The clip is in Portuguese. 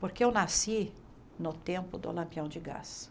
Porque eu nasci no tempo do lampião de gás.